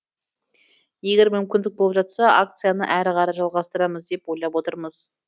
егер мүмкіндік болып жатса акцияны әрі қарай жалғастырамыз деп ойлап отырмыз